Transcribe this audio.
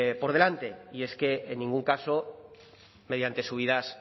por delante y es que en ningún caso mediante subidas